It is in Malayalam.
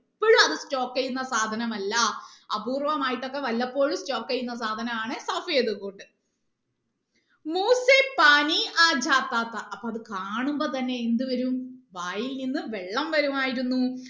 എപ്പോഴും അത് stock ചെയ്യുന്ന സാധനം അല്ല അപൂർവ്വമായിട്ട് ഒക്കെ വല്ലപ്പോഴും stock ചെയ്യുന്ന സാധനം ആണ് അപ്പൊ അത് കാണുമ്പോ തന്നെ എന്ത് വരും വായിൽ നിന്ന് വെള്ളം വരുമായിരുന്നു